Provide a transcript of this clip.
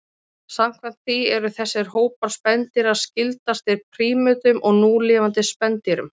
samkvæmt því eru þessir hópar spendýra skyldastir prímötum af núlifandi spendýrum